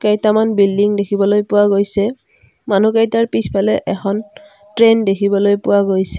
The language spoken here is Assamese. কেইটামান বিল্ডিং দেখিবলৈ পোৱা গৈছে মানুহকেইটাৰ পিছফালে এখন ট্ৰেইন দেখিবলৈ পোৱা গৈছে।